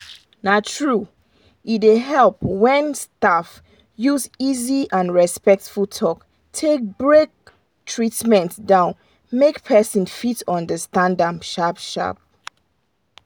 na true e dey help well when staff use easy and respectful talk take break treatment down make person fit understand am sharp sharp.